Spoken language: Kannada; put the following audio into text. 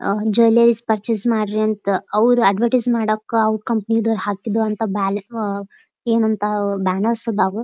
ಆಹ್ಹ್ ಜುವೆಲ್ಲೇರಿಸ್ ಪರ್ಚೇಸ್ ಮಾಡ್ರಿ ಅಂತ ಅವ್ರ್ ಅಡ್ವರ್ಟೈಸ್ ಮಾಡಾಕ ಅವ್ರ್ ಕಂಪನಿ ದೌರ್ ಹಾಕಿದು ಅಂತ ಬ್ಯಾಲ್ ಆಅ ಎನಂತಾ ವ್ ಬ್ಯಾನರ್ಸ್ ಆದಾವು --